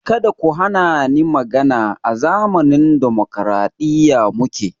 Kada ku hani ni magana! A zamanin dimokraɗiya muke